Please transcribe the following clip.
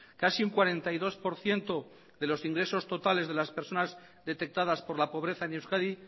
casi un cuarenta y dos por ciento de los ingresos totales de las personas detectadas por la pobreza en euskadi